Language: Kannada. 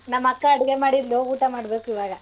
ನಮ್ ಅಕ್ಕ ಅಡ್ಗೆ ಮಾಡಿದ್ಲು ಊಟ ಮಾಡ್ಬೇಕ್ ಈವಾಗ.